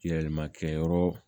Yɛlɛma kɛyɔrɔ